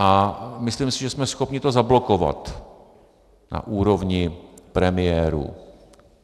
A myslím si, že jsme schopni to zablokovat na úrovni premiérů.